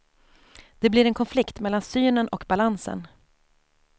Det blir en konflikt mellan synen och balansen.